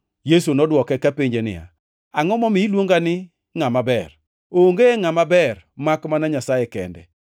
Yesu nodwoke kapenje niya, “Angʼo momiyo iluonga ni ngʼama ber? Onge ngʼama ber, makmana Nyasaye kende.